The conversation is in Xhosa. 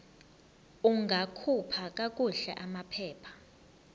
ungakhupha kakuhle amaphepha